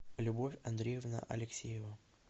любовь андреевна алексеева